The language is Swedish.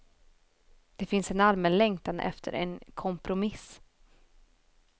Det finns en allmän längtan efter en kompromiss.